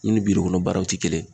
I ni birikɔnɔ baaraw tɛ kelen ye